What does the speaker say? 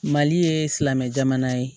Mali ye silamɛ jamana ye